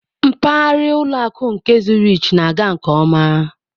Mpaghara ụlọ akụ nke Zurich na-aga nke ọma.